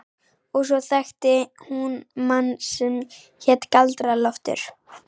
Og svo þekkti hún mann sem hét Galdra-Loftur.